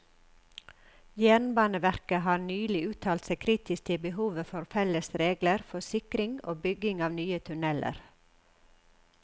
Jernbaneverket har nylig uttalt seg kritisk til behovet for felles regler for sikring og bygging av nye tunneler.